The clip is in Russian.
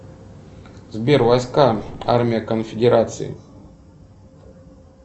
сбер войска армия конфедерации